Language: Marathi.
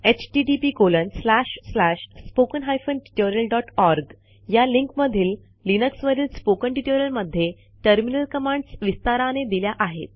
httpspoken tutorialorg या लिंकमधील लिनक्सवरील स्पोकन ट्युटोरियलमधे टर्मिनल कमांड्स विस्ताराने दिल्या आहेत